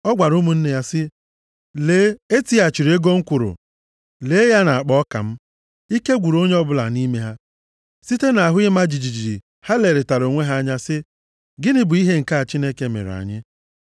Ọ gwara ụmụnne ya sị, “Lee, e tighachiri ego m kwụrụ. Lee ya nʼakpa ọka m.” Ike gwụrụ onye ọbụla nʼime ha. Site nʼahụ ịma jijiji ha lerịtara onwe ha anya sị, “Gịnị bụ ihe a Chineke mere anyị?”